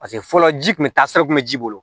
Paseke fɔlɔ ji kun bɛ taa sira kun bɛ ji bolo